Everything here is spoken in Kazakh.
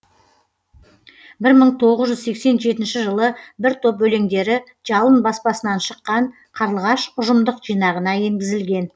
бір мың тоғыз жүз сексен жетінші жылы бір топ өлеңдері жалын баспасынан шыққан қарлығаш ұжымдық жинағына енгізілген